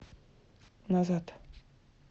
назад